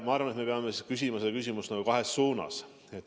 Ma arvan, et me peame seda küsimust küsima kahes suunas.